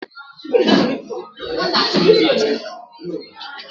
Ị nwere ike itinye m na Twita?